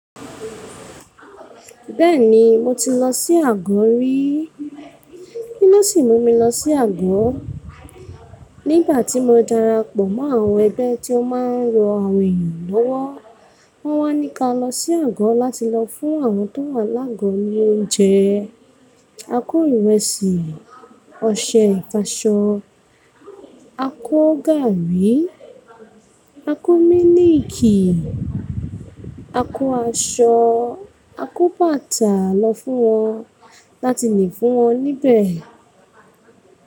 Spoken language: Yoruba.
Bẹ́ẹ̀ni mo ti lọ sí àgọ ríi. Kí ló sì mú mi lọ sí àgọ? Nígbà tí mo darapọ̀ mọ́ àwọn ẹgbẹ́ tí ó máa ń ran àwọn èèyàn lówó, wọ́n wá ní ka lọ sí àgọ láti lọ fún àwọn tó wà lágo ní oúnjẹ. A kó ìrẹsì, ọṣẹ ìfàṣọ, a kó gàárì, a kó mílìikì, a kó aṣọ, a kó bàtà lọ fún wọn láti lè fún wọn níbẹ̀.